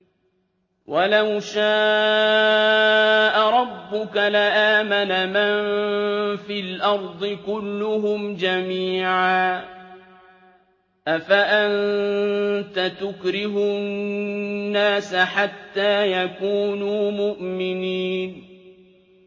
وَلَوْ شَاءَ رَبُّكَ لَآمَنَ مَن فِي الْأَرْضِ كُلُّهُمْ جَمِيعًا ۚ أَفَأَنتَ تُكْرِهُ النَّاسَ حَتَّىٰ يَكُونُوا مُؤْمِنِينَ